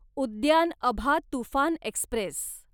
उद्यान अभा तुफान एक्स्प्रेस